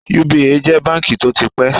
United Bank for Africa (UBA) jẹ́ báǹkì tó ti pẹ́